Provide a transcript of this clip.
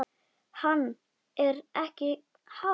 Hann: Er ekki hált?